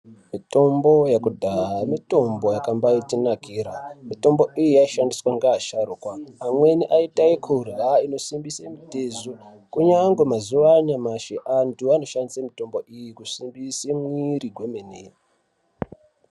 Mitombo yekudhaya mitombo yakambatinakira mitombo iyi yaishandiswa ngeasharukwa. Amweni aiita ekurya inosimbise mitezo kunyange mazuva anyamashi antu anoshandise mitombo iyi kusimbise mwiri kwemene.